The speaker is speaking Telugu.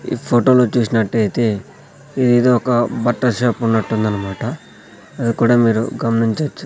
ఈ ఫొటో లో చూసినట్టైతే ఇదేదో ఒక బట్టల షాప్ ఉన్నట్టుందన్మాట అది కూడా మీరు గమనించొచ్చు.